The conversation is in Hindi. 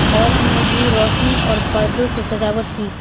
हॉल मे भी रोशनी और पर्दो से सजावट की--